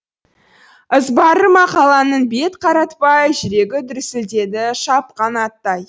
ызбары мақаланың бет қаратпай жүрегі дүрсілдеді шапқан аттай